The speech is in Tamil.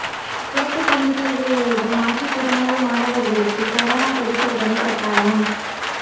சிறப்பு துணைத் தோ்வு எழுதும் மாற்றுத் திறனாளிமாணவா்களுக்கு கரோனா பரிசோதனை கட்டாயம்